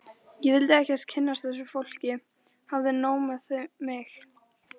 Ég vildi ekkert kynnast þessu fólki, hafði nóg með mig.